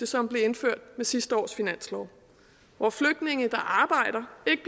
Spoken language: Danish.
som blev indført med sidste års finanslov hvor flygtninge der arbejder ikke